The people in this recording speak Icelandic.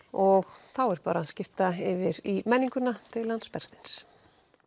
og þá er bara að skipta yfir í menninguna til hans Bergsteins